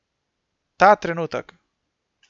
Ta trenutek.